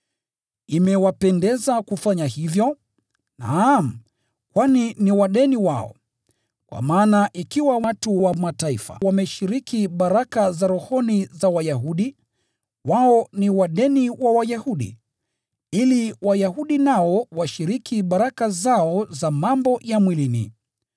Imewapendeza kufanya hivyo, naam, kwani ni wadeni wao. Kwa maana ikiwa watu wa Mataifa wameshiriki baraka za rohoni za Wayahudi, wao ni wadeni wa Wayahudi, ili Wayahudi nao washiriki baraka zao za mambo ya mwilini.